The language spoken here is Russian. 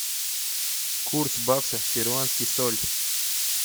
курс бакса в перуанский соль